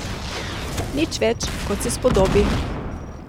Nič več, kot se spodobi.